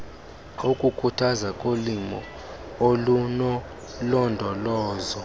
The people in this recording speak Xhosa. wokukhuthazwa kolimo olunolondolozo